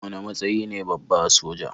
Wane matsayi ne babba a soja?